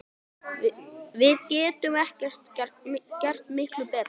Við getum gert miklu betur!